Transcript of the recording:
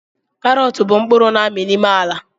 Karọt bụ mkpụrụ na-ami n'ime ala